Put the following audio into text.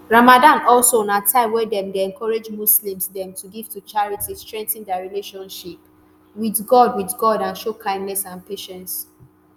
ramadan also na time wen dem dey encourage muslims dem to give to charity strengthen dia relationship withgod withgod and show kindness and patience.